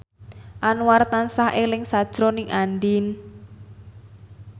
Anwar tansah eling sakjroning Andien